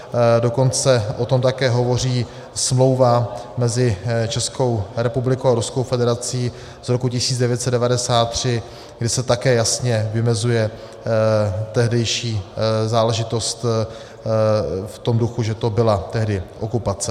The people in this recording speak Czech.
Dokonce o tom také hovoří smlouva mezi Českou republikou a Ruskou federací z roku 1993, kde se také jasně vymezuje tehdejší záležitost v tom duchu, že to byla tehdy okupace.